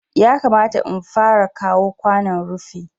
Yakamata in fara kawo kwanon rufi